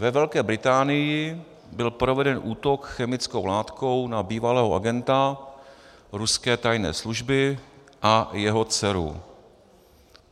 Ve Velké Británii byl proveden útok chemickou látkou na bývalého agenta ruské tajné služby a jeho dceru.